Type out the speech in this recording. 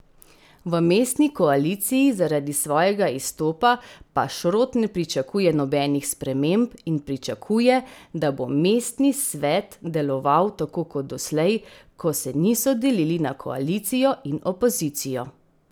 V mestni koaliciji zaradi svojega izstopa pa Šrot ne pričakuje nobenih sprememb in pričakuje, da bo mestni svet deloval tako kot doslej, ko se niso delili na koalicijo in opozicijo.